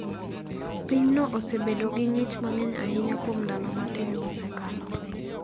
Pinyno osebedo gi ng`ich mang'eny ahinya kuom ndalo matin mosekalo.